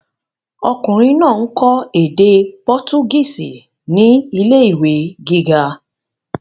Ọkùnrin náà ń kọ́ èdè pọtugísì ní ilé ìwé gíga.